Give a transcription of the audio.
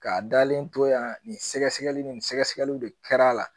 K'a dalen to yan nin sɛgɛsɛgɛli nin sɛgɛsɛgɛliw de kɛra a la